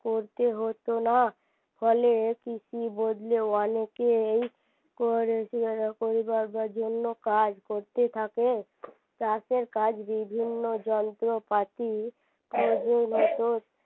পড়তে হতো না ফলে কৃষি বদলে অনেকেই কর জন্য কাজ করতে থাকে তাতে কাজ বিভিন্ন যন্ত্রপাতি